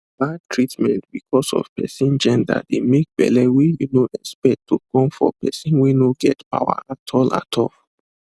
bad treatment because of person genderdey make belle wey you no expect to come for person wey no get power at all at all